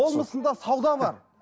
болмысында сауда бар